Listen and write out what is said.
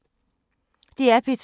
DR P2